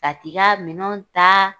Ka t'i ka minɛw ta,